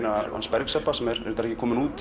Bergs Ebba sem er reyndar ekki komin út